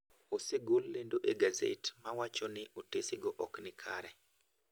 Osegol lendo egazet mawachoni otesego ok nikare.